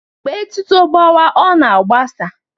Mgbe etuto gbawa ọ na-agbasa